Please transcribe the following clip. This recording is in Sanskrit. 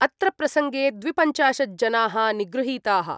अत्र प्रसङ्गे द्विपञ्चाशज्जनाः निगृहीताः।